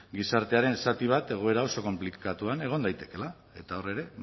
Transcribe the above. gizartearen zati bat egoera oso konplikatuan egon daitekeela eta hor ere